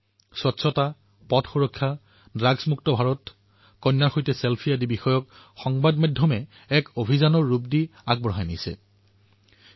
স্বচ্ছতা পথ সুৰক্ষা ড্ৰাগ মুক্ত ভাৰত ছেলফি উইথ ডটাৰ আদিৰ দৰে বিষয়সমূহ সংবাদ মাধ্যমে উদ্ভাৱনী ৰূপ প্ৰদান কৰি এক অভিযানৰ ৰূপত আগুৱাই লৈ গৈছে